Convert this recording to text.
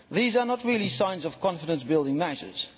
These are not really signs of confidence building measures.